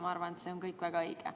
Ma arvan, et see on kõik väga õige.